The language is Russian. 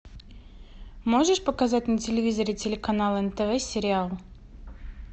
можешь показать на телевизоре телеканал нтв сериал